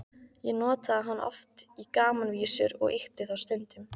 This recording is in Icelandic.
Ég notaði hann oft í gamanvísur og ýkti þá stundum.